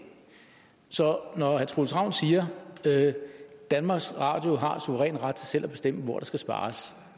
så når herre troels ravn siger at danmarks radio har en suveræn ret til selv at bestemme hvor der skal spares